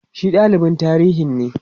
shi dalibin tarihinne